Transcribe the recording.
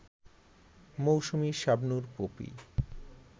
Mousumi, Shabnur, poppy